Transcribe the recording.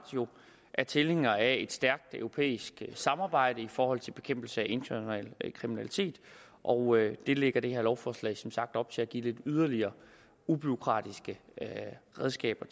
er tilhængere af et stærkt europæisk samarbejde i forhold til bekæmpelse af international kriminalitet og det lægger det her lovforslag jo som sagt op til at give yderligere ubureaukratiske redskaber